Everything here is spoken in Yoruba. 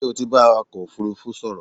Ṣé o ti bá awakọ̀ òfúrúfú sọ̀rọ̀?